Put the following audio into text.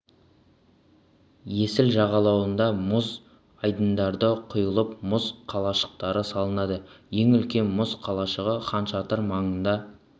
есіл жағалауында мұз айдындары құйылып мұз қалашықтары салынады ең үлкен мұз қалашығы хан шатыр маңында